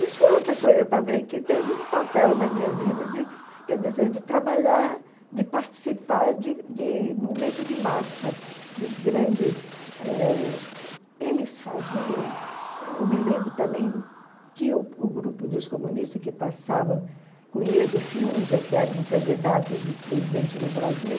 Isso foi outra coisa também que teve um papel na minha vida de, quer dizer, de trabalhar, de participar de de momentos de massa, de grandes eh... Eles faziam... Eu me lembro também, tinha o grupo dos comunistas que passava com o Iedo Fiúza, que era um candidato de presidente do Brasil,